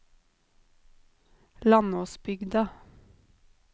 Landåsbygda